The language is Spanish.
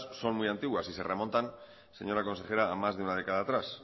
son muy antiguas y se remontan señora consejera a más de una década atrás